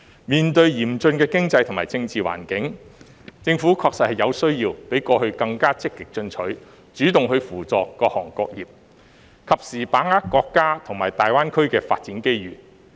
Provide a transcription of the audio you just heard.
面對嚴峻的經濟和政治環境，政府確實有需要比過去更加積極進取，主動扶助各行各業，及時把握國家和大灣區的發展機遇。